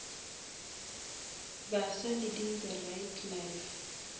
baswa leading the right life